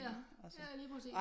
Ja lige præcis